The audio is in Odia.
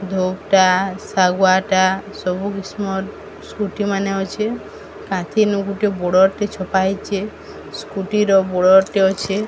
ଧୋବ୍ ଟା ଶାଗୁଆଟା ସବୁ କିସମର ସ୍କୁଟି ମାନେ ଅଛି କାନ୍ଥିନୁ ଗୁଟେ ବଡ଼ର ରେ ଛପା ହେଇଚି। ସ୍କୁଟିର ବଡ଼ର ଟେ ଅଛି।